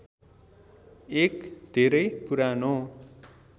एक धेरै पुरानो